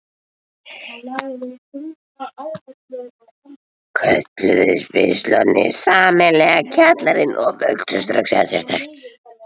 Kölluðust pistlarnir sameiginlega Kjallarinn og vöktu strax eftirtekt.